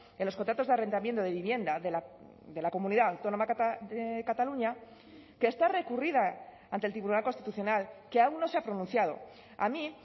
en los contratos de arrendamiento de vivienda de la comunidad autónoma de cataluña que está recurrida ante el tribunal constitucional que aún no se ha pronunciado a mí